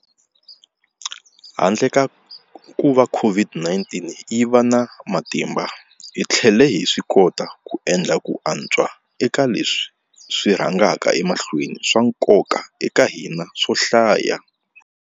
Handle ka kuva COVID-19 yi va na matimba, hi tlhele hi swikota ku endla ku antswa eka leswi swi rhangaka emahlweni swa nkoka eka hina swo hlaya.